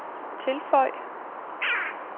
tilføj